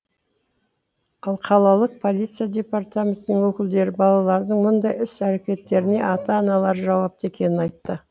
ал қалалық полиция департаментінің өкілдері балалардың мұндай іс әрекеттеріне ата аналары жауапты екенін айтты